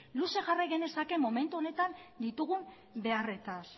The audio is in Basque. luze jarrai genezake momentu honetan ditugun beharretaz